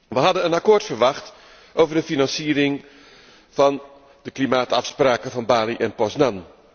We hadden een akkoord verwacht over de financiering van de klimaatafspraken van Bali en Poznan.